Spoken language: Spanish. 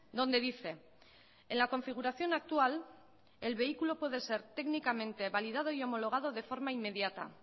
donde dice en la configuración actual el vehículo puede ser técnicamente validado y homologado de forma inmediata